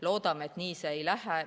Loodame, et siin nii ei lähe.